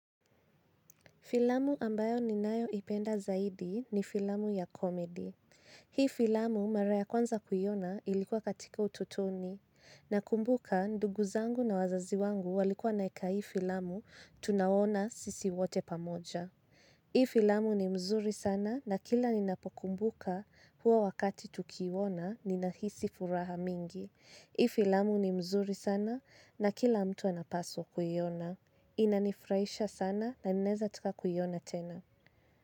Filamu ambayo ninayoipenda zaidi ni filamu ya komedi. Hii filamu mara ya kwanza kuiona ilikuwa katika utotoni. Nakumbuka ndugu zangu na wazazi wangu walikuwa wanaeka hii filamu tunaona sisi wote pamoja. Hii filamu ni mzuri sana na kila ninapokumbuka huwa wakati tukiona ninahisi furaha mingi. Hii filamu ni mzuri sana na kila mtu anapaswa kuiona. Inanifurahisha sana na naeza taka kuiona tena.